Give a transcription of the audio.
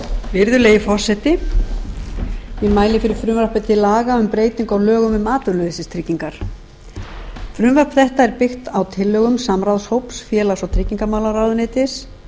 virðulegi forseti ég mæli fyrir frumvarpi til laga um breytingu á lögum um atvinnuleysistryggingar frumvarp þetta er byggt á tillögum samráðshóps félags og tryggingamálaráðuneytis